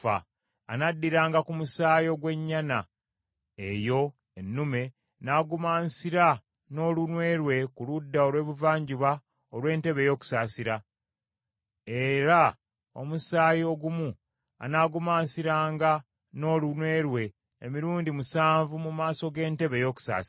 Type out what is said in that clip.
Anaddiranga ku musaayi ogw’ennyana eyo ennume n’agumansira n’olunwe lwe ku ludda olw’ebuvanjuba olw’entebe ey’okusaasira; era omusaayi ogumu anaagumansiranga n’olunwe lwe emirundi musanvu mu maaso g’entebe ey’okusaasira.